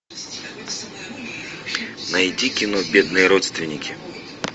найди кино бедные родственники